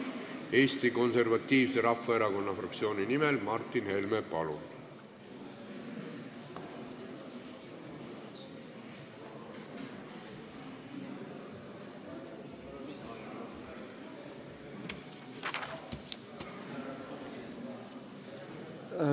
Eesti Konservatiivse Rahvaerakonna fraktsiooni nimel Martin Helme, palun!